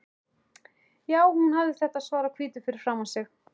Jú, hún hafði þetta svart á hvítu fyrir framan sig.